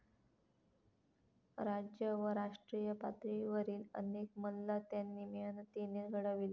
राज्य व राष्ट्रीय पातळीवरील अनेक मल्ल त्यांनी मेहनतीने घडविले.